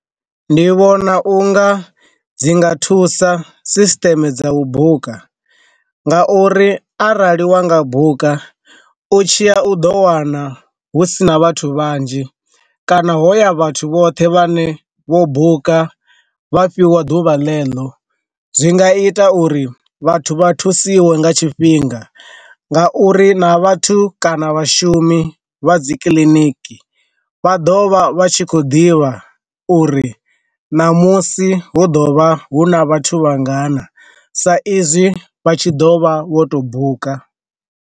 Ndi vhona u nga dzi nga thusa sisteme dza u buka, nga uri arali wa nga buka, u tshiya u do wana hu sina vhathu vhanzhi kana hoya vhathu vhoṱhe vha ne vho buka vha fhiwa ḓuvha ḽe ḽo zwi nga ita uri vhathu vha thusiwe nga tshifhinga nga uri na vhathu kana vhashumi vha dzi kiliniki vha ḓovha vha tshi khou ḓivha uri namusi hu ḓo vha hu na vhathu vhangana sa izwi vha tshi ḓo vha vho to buka.